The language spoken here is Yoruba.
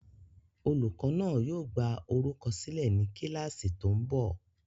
Olùkọ́ náà yóò gbá orúkọ sílẹ̀ ní kíláàsì tó ń bọ̀